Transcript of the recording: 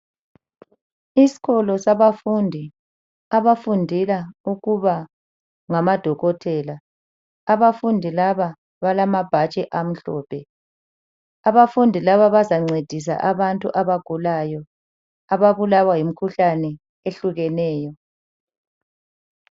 Isikolo sabafundi abafundela ukuba ngamadokotela. Abafundi laba balamabhatshi amhlophe. Abafundi laba bazancedisa abantu abagulayo ababulawa yimikhuhlane ehlukeneyo.